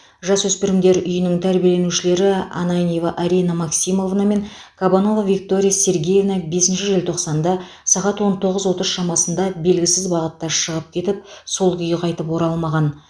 жасөспірімдер үйінің тәрбиеленушілері ананьева арина максимовна мен кабанова виктория сергеевна бесінші желтоқсанда сағат он тоғыз отыздар шамасында белгісіз бағытта шығып кетіп сол күйі қайтып оралмаған